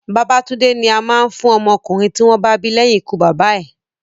Babatúndé ni a máa ń fún ọmọ ọkùnrin tí wọ́n bá bí leyin ikú bàbá bàbá ẹ̀